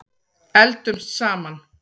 Eldumst saman.